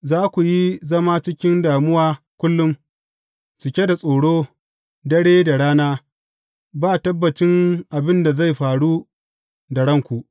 Za ku yi zama cikin damuwa kullum, cike da tsoro, dare da rana, ba tabbacin abin da zai faru da ranku.